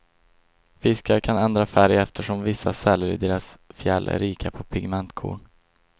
Fiskar kan ändra färg eftersom vissa celler i deras fjäll är rika på pigmentkorn.